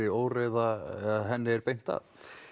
óreiðu er beint að